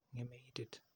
Ng'eme itit.